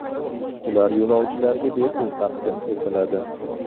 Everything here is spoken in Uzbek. Ular yo‘lovchilarga bepul taqdim etiladi .